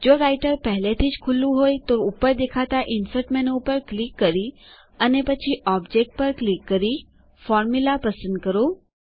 જો રાઈટર પહેલેથી જ ખૂલું હોયતો ઉપર દેખાતા ઇન્સર્ટ menuઇન્સર્ટ મેનુ ઉપર ક્લિક કરી અને પછી Objectઓબ્જેક્ટ ક્લિક કરી Formulaફોર્મ્યુલા પસંદ કરો